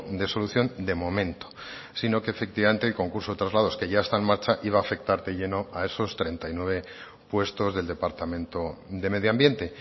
de solución de momento sino que efectivamente el concurso de traslados que ya está en marcha iba a afectar de lleno a esos treinta y nueve puestos del departamento de medio ambiente